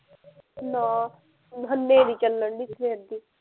ਨਾ ਹਨੇਰੀ ਚੱਲਣ ਡਈ ਸਵੇਰ ਦੀ